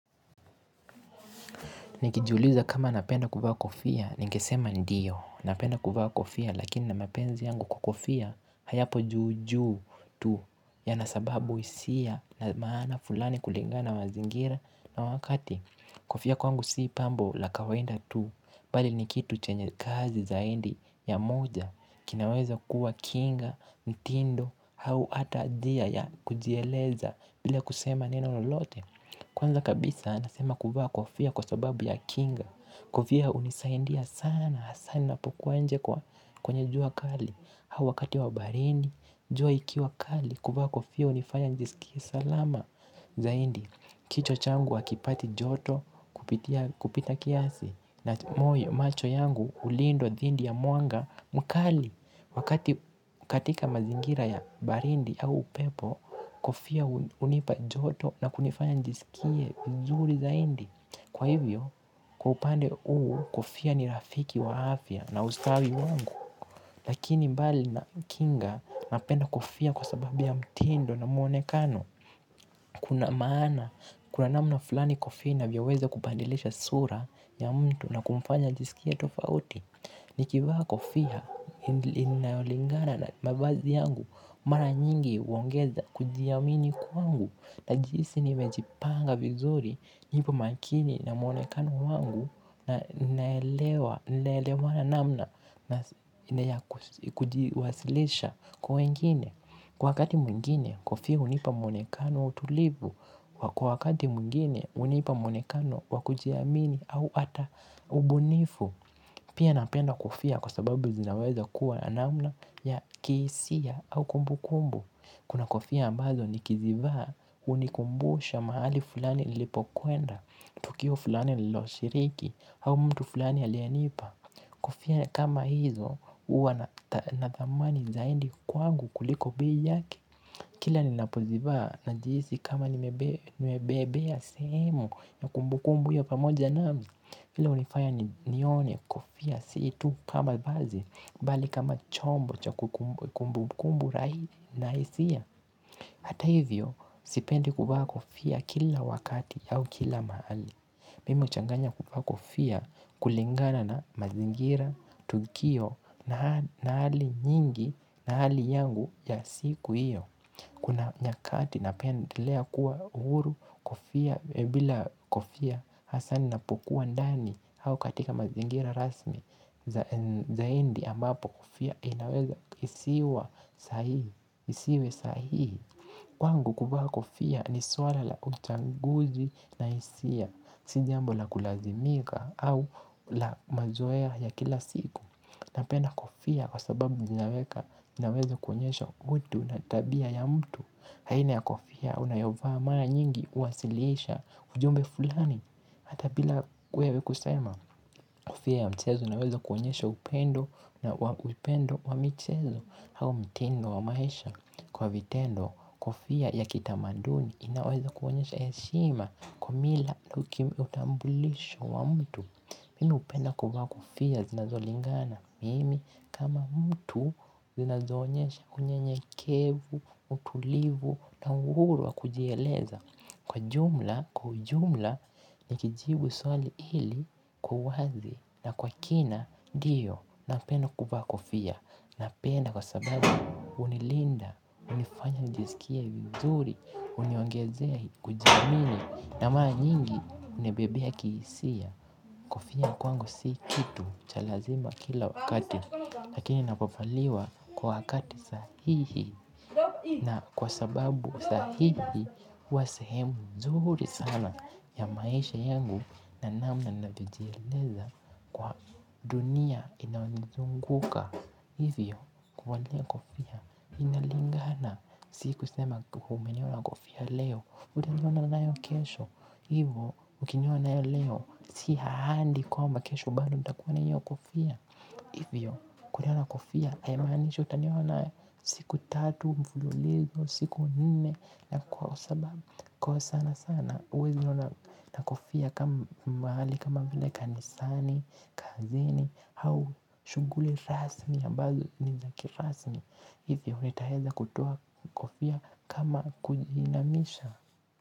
Nikijuliza kama napenda kuvaa kofia, ningesema ndiyo, napenda kuvaa kofia, lakini na mapenzi yangu kwa kofia, hayapo juu juu tu, ya nasababu isia na maana fulani kulingana na mazingira na wakati kofia kwangu sii pambo la kawaida tu, bali nikitu chenye kazi zaidi ya moja, kinaweza kuwa kinga, ntindo, au ata anjia ya kujieleza bila kusema neno lote. Kwanza kabisa nasema kuvaa kofia kwa sababu ya kinga, kofia unisaindia sana, sana ninapokuwa nje kwenye jua kali, au wakati wa baridi, jua ikiwa kali, kuvaa kofia unifanya nijisikie salama, zaidi, kichwa changu wakipati joto kupita kiasi, na moyo macho yangu ulindwa dhindi ya mwanga mkali, wakati katika mazingira ya barindi au pepo, kofia unipajoto na kunifanya njisikie njuri zaidi. Kwa hivyo, kwa upande huu, kofia ni rafiki wafya na ustawi wangu. Lakini mbali na kinga napenda kofia kwa sababu ya mtindo na muonekano. Kuna maana, kuna namna fulani kofia inavyoweza kubadilisha sura ya mtu na kumfanya nijisikie tofauti. Nikivaa kofia inayolingana na mavazi yangu mara nyingi uongeza kujiamini kwangu. Najihisi ni mejipanga vizuri nipo makini na mwonekano wangu na naelewa na namna na kujiwasilisha kwa wengine. Kwa wakati mwengine kofia hunipa muonekano wa utulivu. Kwa wakati mwengine unipa muonekano wa kujiamini au ata ubunifu. Pia napenda kofia kwa sababu zinaweza kuwa namna ya kihisia au kumbu kumbu. Kuna kofia ambazo ni kizivaa unikumbusha mahali fulani nilipo kwenda. Tukio fulani loshiriki au mtu fulani alienipa. Kofia kama hizo uwa na thamani zaidi kwa angu kuliko biyake. Kila ninapo zivaa na jihisi kama nimebebea sehemu ya kumbu kumbu ya pamoja nami hilo unifaya ni nione kofia situ kama vazi bali kama chombo cha kumbu kumbu rahisi. Hata hivyo sipendi kuvaa kofia kila wakati au kila mahali. Mimi huchanganya kuvaa kofia kulingana na mazingira, tukio na hali ni nyingi na hali yangu ya siku hiyo kuna nyakati napendelea kuwa huru bila kofia hasa ninapokuwa ndan au katika mazingira rasmi zaindi ambapo kofia inaweza isiwa sahihi. Isiwe sahihi. Wangu kuvaa kofia ni swala la utanguzi na isia. Sijambola kulazimika au la mazoea ya kila siku. Napenda kofia kwa sababu ninaweka inaweza kuonyesho mtu na tabia ya mtu. Haina ya kofia unayovaa mara nyingi uwasilisha ujumbe fulani. Hata bila kwewe kusema. Kofia ya mchezo naweza kuonyesha upendo na upendo wa mchezo. Hau mtindo wa maisha kwa vitendo. Kofia ya kitamaduni inaweza kuonyesha ya heshima. Kwamila utambulisho wa mtu. Mimi hu penda kuvaa kofia zinazolingana. Mimi kama mtu zinazo onyesha unye nyekevu, utulivu. Na uhuru wa kujieleza. Kwa jumla, kwa jumla. Ni kijibu swali ili kuwazi na kwa kina ndio, napenda kuvaa kofia. Napenda kwa sababu hunilinda, unifanya nijisikie vizuri, unyongezee Kujiamini. Na mara nyingi, unibebea kihisia. Kofia kwangu si kitu chalazima kila wakati. Lakini napofaliwa kwa wakati sahihi. Na kwa sababu sahihi, huwasahemu nzuri sana ya maisha yangu na namna navijieleza kwa dunia inaonizunguka. Hivyo, kuvalia kofia. Inalingana, siku sema kuhumeniwa na kofi ya leo, utaniona nayo kesho. Hivyo, ukiniona nayo leo, sihaali kwa mba kesho bado utakuwa na nahio kofia. Hivyo, kuniona na kofia, aimanishi, utaniona wana siku tatu, mfululizo, siku nne, na kwa sababu, kwa sana sana, wezi niona kofia kama mahali, kama vile kanisani, kazini, au shughuli rasmi yaamazo, nizaki rasmi. Hivyo, nitaweza kutoa kofia kama kujina misha.